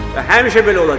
Və həmişə belə olacaq.